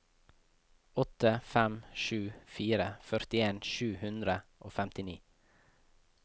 åtte fem sju fire førtien sju hundre og femtini